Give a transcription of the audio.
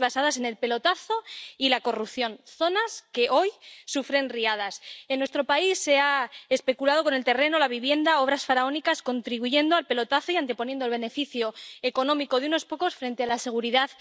basadas en el pelotazo y la corrupción, en zonas inundables, zonas que hoy sufren riadas. En nuestro país se ha especulado con el terreno, la vivienda —obras faraónicas—, contribuyendo al pelotazo y anteponiendo el beneficio económico de unos pocos a la seguridad